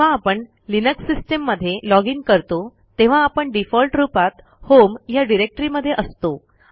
जेव्हा आपण Linux system मध्ये लॉजिन करतो तेव्हा आपणdefault रूपात होम या डिरेक्टरी मध्ये असतो